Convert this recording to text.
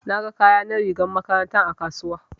Na ga kaya na rigar makarantar a kasuwa.